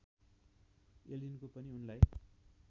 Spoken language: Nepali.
एलिनको पनि उनलाई